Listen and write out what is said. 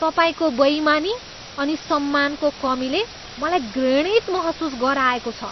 तपाईँको बेइमानी अनि सम्मानको कमीले मलाई घृणित महसुस गराएको छ।